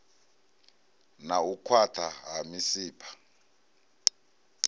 na u khwaṱha ha misipha